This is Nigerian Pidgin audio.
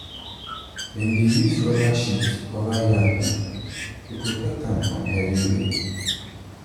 dem dey use rubber sheet cover yam heap to protect am from heavy rain.